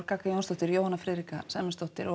gagga Jónsdóttir og Jóhanna Friðrika Sæmundsdóttir